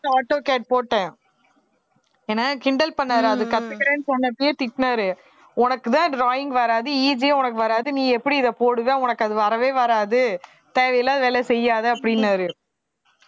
auto cad போட்டேன் என்னை கிண்டல் பண்ணாரு அதை கத்துக்கிறேன்னு சொன்னப்பவே திட்டுனாரு உனக்குத்தான் drawing வராது EG யு உனக்கு வராது நீ எப்படி இதை போடுவ உனக்கு அது வரவே வராது தேவையில்லாத வேலை செய்யாதே அப்படின்னாரு